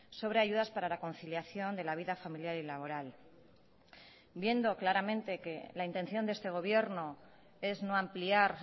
sobre ayudas para la conciliación de la vida familiar y laboral viendo claramente que la intención de este gobierno es no ampliar